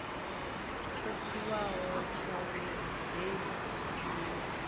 tsho tiwaho tsha heyi tshumelo